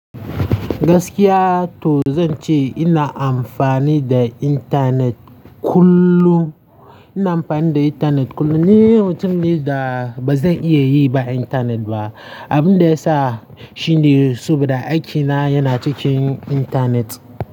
Gaskiya to zan ce ina amfani da intanet kullum, ina amfani da intanet kullum. Ni mutum ne da ba zan iya yi ba intanet ba, abin da ya sa shine saboda aikina yana cikin intanet.